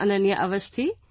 Ananya Awasthi